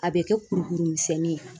A bɛ kɛ kurukuru misɛnnin ye